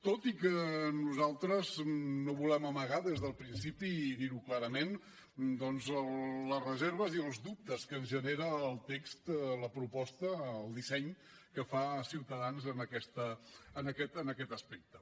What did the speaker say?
tot i que nosaltres no volem amagar des del principi i dir ho clarament doncs les reserves i els dubtes que ens genera el text la proposta el disseny que fa ciutadans en aquest aspecte